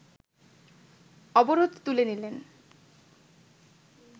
অবরোধ তুলে নিলে